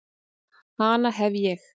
Hana hef ég.